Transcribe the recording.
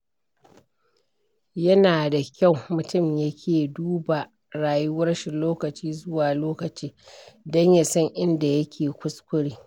Yana da kyau mutum ya ke duba rayuwarshi lokaci zuwa lokaci don ya san inda yake kuskure.